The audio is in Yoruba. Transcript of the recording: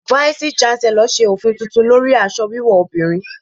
Váísí shánselọ̀ ṣe òfin tuntun lórí aṣọ wíwò obìnrin.